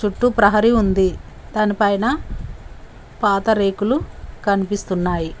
చుట్టు ప్రహరీ ఉంది దానిపైన పాత రేకులు కనిపిస్తున్నాయి.